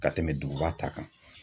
Ka tɛmɛ duguba ta kan.